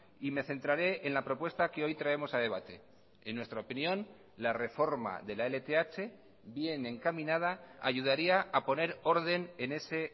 y me centraré en la propuesta que hoy traemos a debate en nuestra opinión la reforma de la lth bien encaminada ayudaría a poner orden en ese